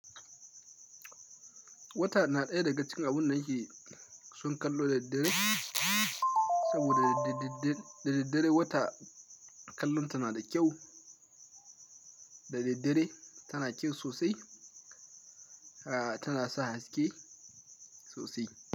Wata na ɗaya daga cikin abun da ake son kallo da daddare, saboda da daddare wata kallon ta na da kyau. Da daddare tana kyau sosai, tana sa haske sosai.